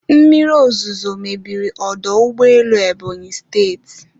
Mmiri ozuzo mebiri ọdọ ụgbọelu Ebonyi State